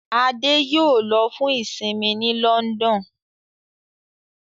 Ade yóò ló fún isinmi ní London.